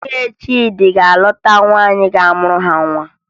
Nwunye Chidi ga-alụta nwaanyị ga-amụrụ ha nwa